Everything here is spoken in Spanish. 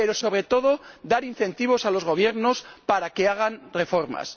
pero, sobre todo, dar incentivos a los Gobiernos para que hagan reformas.